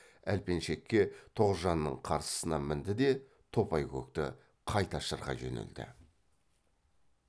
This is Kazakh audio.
әлпеншекке тоғжанның қарсысына мінді де топайкөкті қайта шырқай жөнелді